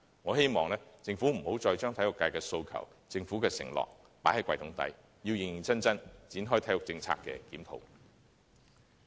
我希望政府不要再將體育界的訴求及政府的承諾放入"櫃桶底"，要認認真真，展開對體育政策的檢討。